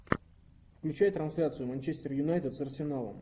включай трансляцию манчестер юнайтед с арсеналом